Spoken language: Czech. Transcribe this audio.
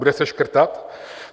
Bude se škrtat?